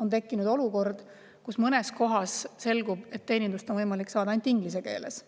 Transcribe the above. on tekkinud olukord, kus mõnes kohas selgub, et teenindust on võimalik saada ainult inglise keeles.